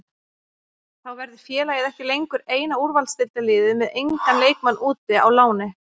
Þá verður félagið ekki lengur eina úrvalsdeildarliðið með engan leikmann úti á láni.